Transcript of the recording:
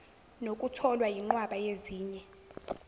nokutholwa yinqwaba yezinye